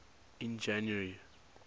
in january